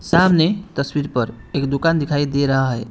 सामने तस्वीर पर एक दुकान दिखाई दे रहा है।